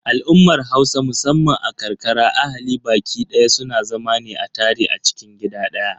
Al'ummar Hausa musamman a ƙarƙara ahali baƙi daya suna zama ne a tare a cikin gida ɗaya.